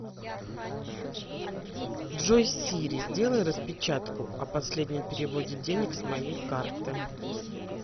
джой сири сделай распечатку о последнем переводе денег с моей карты